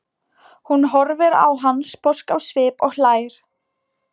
Hún horfir á hann sposk á svip og hlær.